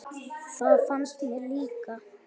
Það finnst mér líka.